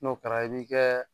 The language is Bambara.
N'o kɛra i bɛ kɛ